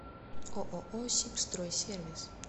ооо сибстройсервис